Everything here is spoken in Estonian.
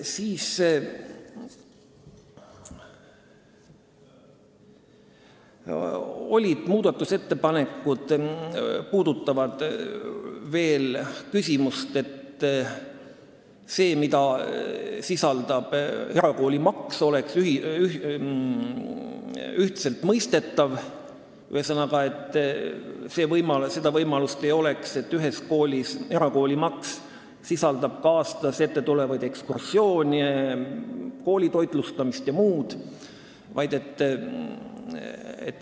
Siis olid veel muudatusettepanekud selle kohta, et see, mida sisaldab erakoolimaks, peaks olema ühtselt mõistetav ega tohiks olla võimalust, et erakoolimaks sisaldab ka tasu aasta jooksul toimuvate ekskursioonide, koolitoitlustamise jms eest.